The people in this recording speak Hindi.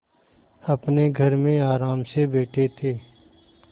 अपने घर में आराम से बैठे थे